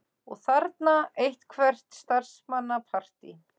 Og þarna eitthvert starfsmannapartí.